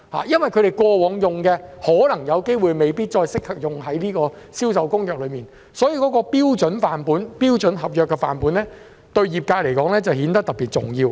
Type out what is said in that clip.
因為他們過往使用的範本可能未必再適用於《銷售公約》上，所以，標準的合約範本對業界來說顯得特別重要。